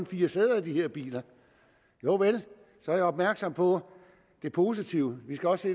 fire sæder i de her biler jovel jeg er opmærksom på det positive vi skal også